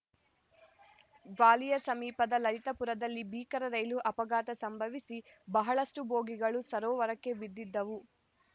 ಗ್ವಾಲಿಯರ್‌ ಸಮೀಪದ ಲಲಿತಪುರದಲ್ಲಿ ಭೀಕರ ರೈಲು ಅಪಘಾತ ಸಂಭವಿಸಿ ಬಹಳಷ್ಟುಬೋಗಿಗಳು ಸರೋವರಕ್ಕೆ ಬಿದ್ದಿದ್ದವು